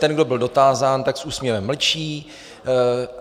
Ten, kdo byl dotázán, tak s úsměvem mlčí.